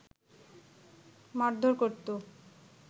মারধর করতো